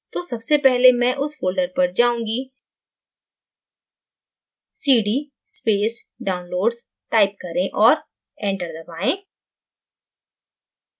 तो सबसे पहले मैं उस folder पर जाऊँगी cd space downloads type करें और enter दबायें